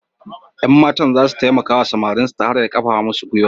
Yan matan za su taimaka wa samarin ta hanyar karfafa musu gwiwa.